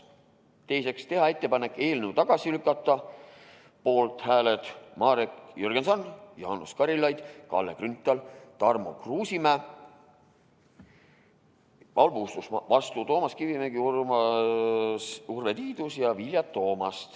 Teiseks, teha ettepanek eelnõu tagasi lükata .